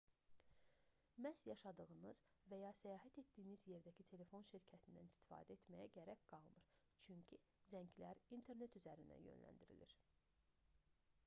məhz yaşadığınız və ya səyahət etdiyiniz yerdəki telefon şirkətindən istifadə etməyə gərək qalmır çünki zənglər internet üzərindən yönləndirilir